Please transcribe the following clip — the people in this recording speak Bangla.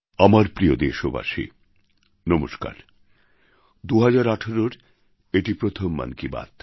আমার প্রিয় দেশবাসী নমস্কার ২০১৮র এটি প্রথম মন কি বাত